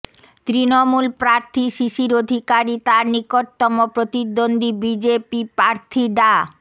তৃণমূল প্রার্থী শিশির অধিকারী তাঁর নিকটতম প্রতিদ্বন্দ্বী বিজেপি প্রার্থী ডা